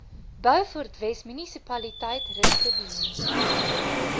beaufortwes munisipaliteit rustedene